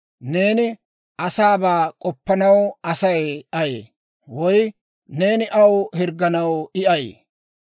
neeni asaabaa k'oppanaw Asay ayee? Woy neeni aw hirgganaw I ayee?